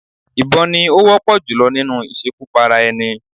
Ìbọn ni ó wọ́pọ̀ jùlọ nínú ìṣekúpara-ẹni.